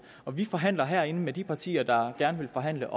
og vi forhandler herinde med de partier der gerne vil forhandle